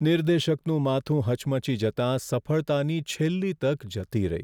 નિર્દેશકનું માથું હચમચી જતાં સફળતાની છેલ્લી તક જતી રહી.